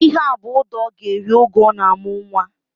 Ihea bụ ụda ọ ga-eri oge ọ ga-amụ nwa